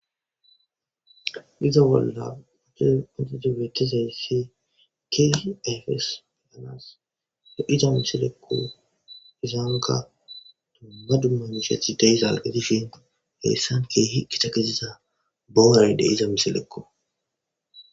iza bolla uchche antidibettizay si kihi efes beganas de iza misilekko izaanga dumma dummamusheth deyzal qedishin heyssan ke hiqki takeziza bowarayde iza misilekko.